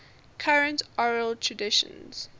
current oral traditions